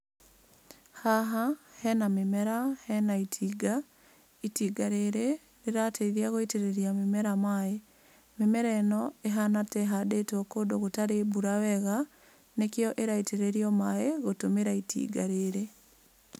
Haha hena mĩmera, hena itinga. Itinga rĩrĩ rĩrateithia gũitĩrĩria mĩmera maĩ. Mĩmera ĩno ĩhana ta ĩhandĩtwo kũndũ gũtarĩ mbura wega nĩkĩo ĩraitĩrĩrio maĩ gũtũmĩra itinga rĩrĩ.